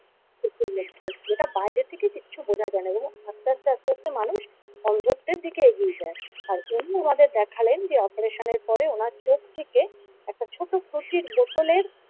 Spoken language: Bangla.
চোখের মধ্যে যেটা বাইরে থেকে কিচ্ছু বোঝা যায় না এবং আস্তে আস্তে আস্তে আস্তে মানুষ অন্ধত্বের দিকে এগিয়ে যায় আর উনি ওনাদের দেখালেন যে অপারেশনের পরে ওনার চোখ থেকে একটা ছোট কুঁচির বোতলের।